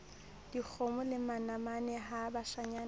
dikgomo le manamane ha bashanyana